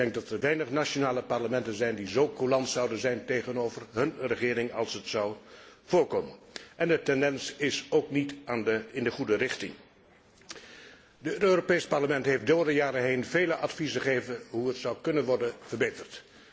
Ik denk dat er weinig nationale parlementen zijn die zo coulant zouden zijn tegenover hun regering als dat zou voorkomen. De tendens is ook niet in de goede richting. Het Europees Parlement heeft door de jaren heen veel adviezen gegeven over hoe het zou kunnen worden verbeterd.